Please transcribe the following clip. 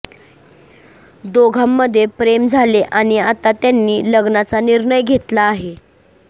दोघांमध्ये प्रेम झाले आणि आता त्यांनी लग्नाचा निर्णय घेतला आहे